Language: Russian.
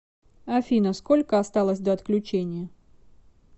афина сколько осталось до отключения